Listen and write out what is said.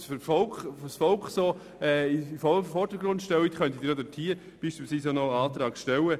Wenn sie das Volk derart in den Vordergrund stellen, könnten Sie ja dort noch einen Antrag stellen.